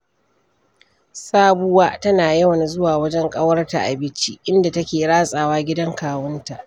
Sabuwa tana yawan zuwa wajen ƙawarta a Bichi, inda take ratsawa gidan kawunta.